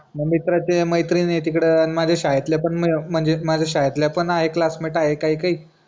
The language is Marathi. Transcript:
मित्राचे मैत्रीण आहे तिकडं आणि माझ्या शाळेतल्या पण आहे माझे क्लासमेट आहे काही काही